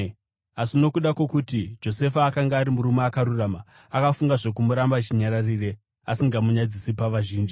Asi nokuda kwokuti Josefa akanga ari munhu akarurama akafunga zvokumuramba chinyararire, asingamunyadzisi pavazhinji.